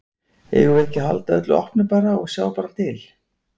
Eigum við ekki að halda öllu opnu bara og, og sjá bara til?